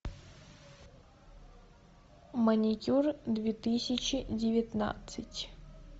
маникюр две тысячи девятнадцать